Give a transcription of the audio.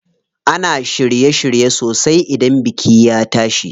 Ana shirye shirye sosai idan biki ya tashi.